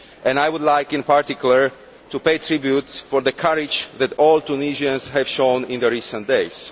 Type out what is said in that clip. I would like, in particular, to pay tribute to the courage that all Tunisians have shown in recent days.